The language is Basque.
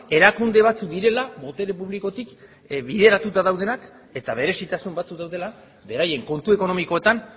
erakunde batzuk direla botere publikotik bideratuta daudenak eta berezitasun batzuk daudela beraien kontu ekonomikoetan